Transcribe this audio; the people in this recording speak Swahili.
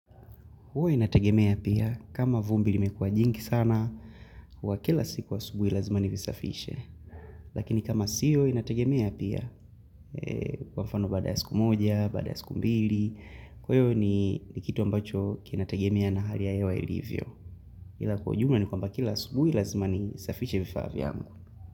Huwa inategemea pia kama vumbi limekuwa jingi sana, huwa kila siku asubuhi lazima nilisafishe. Lakini kama sio inategemea pia kwa mfano baada ya siku moja, baada ya siku mbili, kwa hiyo ni nikitu ambacho kinategemea na hali ya hewa ilivyo. Ila kwa jumla ni kwamba kila asubuhi lazima nisafishe vifaa vyangu.